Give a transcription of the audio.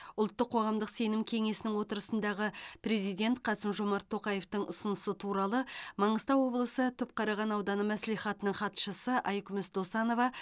ұлттық қоғамдық сенім кеңесінің отырысындағы президент қасым жомарт тоқаевтың ұсынысы туралы маңғыстау облысы түпқараған ауданы мәслихатының хатшысы айкүміс досанова